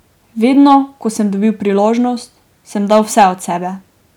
Vedno, ko sem dobil priložnost, sem dal vse od sebe.